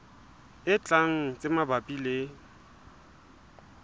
e tlang tse mabapi le